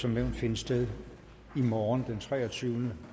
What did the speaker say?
som nævnt finde sted i morgen den treogtyvende